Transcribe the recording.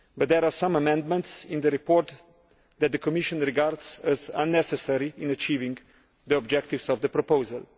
However, there are some amendments in the report that the Commission regards as unnecessary in achieving the objectives of the proposal.